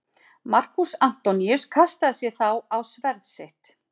Markús Antoníus kastaði sér þá á sverð sitt.